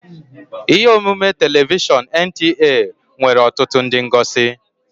Ihe omume telivishọn NTA nwere ọtụtụ ndị ngosi